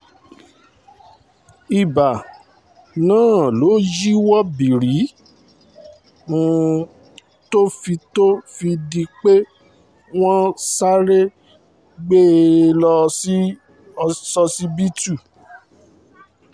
ìbá náà ló yíwọ́ bìrí tó fi tó fi di pé wọ́n sáré gbé e lọ sósibítù st